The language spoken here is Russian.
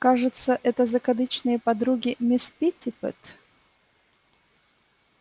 кажется это закадычные подруги мисс питтипэт